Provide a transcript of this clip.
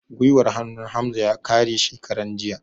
Gwiwar hannun Hamza ya kare shekaran jiya